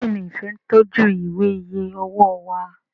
Béèni Ifẹ ń tọjú Ìwé iye owó wá